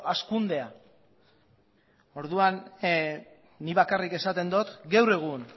hazkundea orduan nik bakarrik esaten dut gaur egun